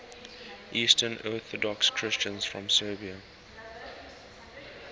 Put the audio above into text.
eastern orthodox christians from serbia